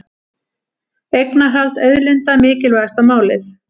Eignarhald auðlinda mikilvægasta málið